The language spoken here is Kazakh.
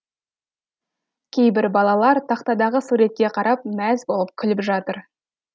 кейбір балалар тақтадағы суретке қарап мәз болып күліп жатыр